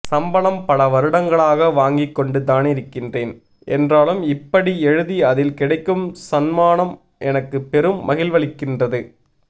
சம்பளம் பலவருடங்களாக வாங்கிக்கொண்டுதானிருக்கிறேன் என்றாலும் இப்படி எழுதி அதில் கிடைக்கும் சன்மானம் எனக்கு பெரும் மகிழ்வளிக்கின்றது